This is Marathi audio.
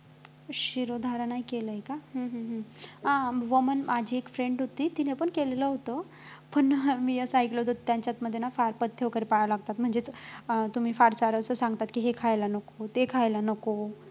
शिरोधारा नाही केलय का हम्म हम्म हम्म अं वमन माझी एक friend होती तिनं पण केलेलं होतं पण मी असं ऐकलं होतं की त्यांच्यामध्ये ना फार पथ्य वगैरे पाळावे लागतात म्हणजे अं तुम्ही फार जण हे सांगतात कि हे खायला नको ते खायला नको